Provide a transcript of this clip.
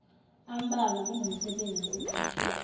ambalwa kunomsebenzi oqashwe